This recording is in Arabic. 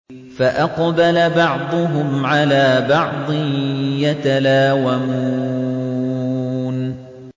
فَأَقْبَلَ بَعْضُهُمْ عَلَىٰ بَعْضٍ يَتَلَاوَمُونَ